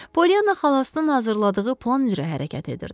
Polyana xalasının hazırladığı plan üzrə hərəkət edirdi.